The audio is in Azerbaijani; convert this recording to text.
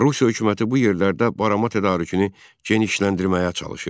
Rusiya hökuməti bu yerlərdə barama tədarükünü genişləndirməyə çalışırdı.